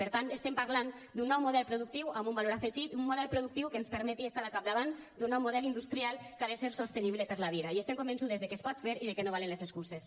per tant estem parlant d’un nou model productiu amb un valor afegit un model productiu que ens permeti estar al capdavant d’un nou model industrial que ha de ser sostenible per a la vida i estem convençudes que es pot fer i que no valen les excuses